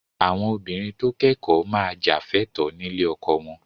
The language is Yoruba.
Àwọn obìnrin tó kẹ́kọ̀ọ́ máa jà fẹ́tọ̀ọ́ nílé ọkọ wọn